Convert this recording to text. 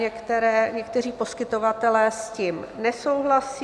Někteří poskytovatelé s tím nesouhlasí.